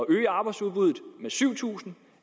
øge arbejdsudbuddet med syv tusind